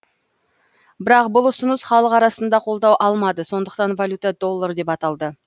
бірақ бұл ұсыныс халық арасында қолдау алмады сондықтан валюта доллар деп аталды